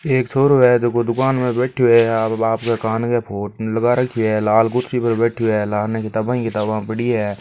एक छोरो है जको दूकान में बैठयो है आपके बापके कान पे फ़ोन लगा रखियो है लाल कुर्सी पर बैठयो है लारने किताबा ही किताबा पड़ी है।